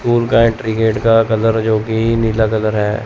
School का entry gate का colour जो कि नीला कलर है।